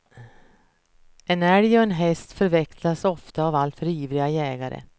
En älg och en häst förväxlas ofta av alltför ivriga jägare.